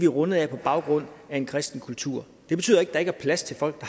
rundet af har baggrund i en kristen kultur det betyder ikke at der ikke er plads til folk